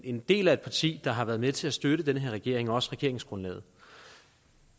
en del af et parti der har været med til at støtte den her regering og også regeringsgrundlaget